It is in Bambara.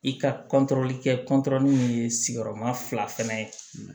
I ka kɛ ye sigiyɔrɔma fila fɛnɛ ye